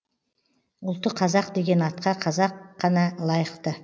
ұлты қазақ деген атқа қазақ қана лайықты